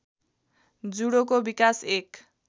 जुडोको विकास एक